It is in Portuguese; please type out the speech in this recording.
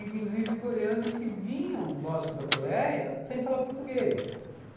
Inclusive, coreanos que vinham, lógico, da Coreia, sem falar português.